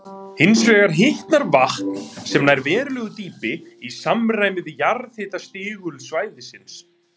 Hins vegar hitnar vatn, sem nær verulegu dýpi, í samræmi við jarðhitastigul svæðisins.